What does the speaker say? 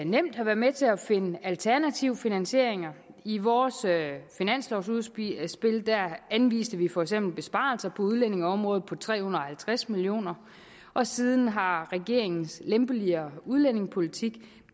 nemt have været med til at finde alternative finansieringer i vores finanslovudspil anviste vi for eksempel besparelser på udlændingeområdet på tre hundrede og halvtreds million kr og siden har regeringens lempeligere udlændingepolitik